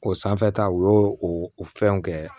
O sanfɛta o y'o o fɛnw kɛ